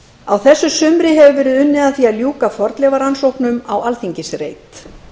á þessu sumri hefur verið unnið að því að ljúka fornleifarannsóknum á alþingisreit